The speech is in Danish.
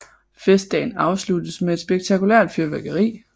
Festdagen afsluttes med et spektakulært fyrværkeri